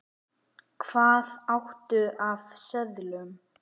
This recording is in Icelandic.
Hvað áttu af seðlum?